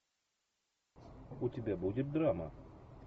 у тебя будет драма